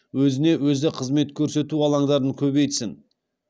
өзіне өзі қызмет көрсету алаңдарын көбейтсін